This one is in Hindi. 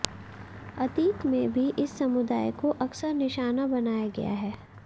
अतीत में भी इस समुदाय को अकसर निशाना बनाया गया है